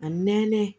A mɛnnen